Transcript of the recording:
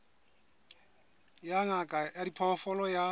ya ngaka ya diphoofolo ya